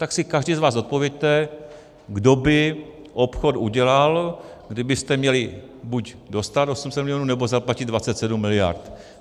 Tak si každý z vás odpovězte, kdo by obchod udělal, kdybyste měli buď dostat 800 milionů, nebo zaplatit 27 miliard.